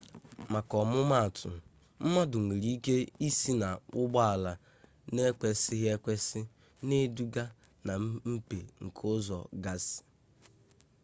maka ọmụmaatụ mmadụ nwere ike ịsị na ụgbọala n'ịkwesị ekwesị na-eduga na mmepe nke ụzọ gasị